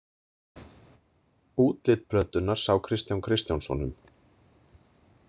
Útlit plötunnar sá Kristján Kristjánsson um.